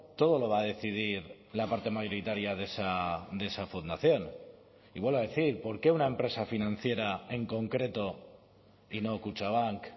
todo lo va a decidir la parte mayoritaria de esa fundación y vuelvo a decir por qué una empresa financiera en concreto y no kutxabank